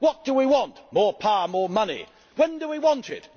What do we want? More power, more money! When do we want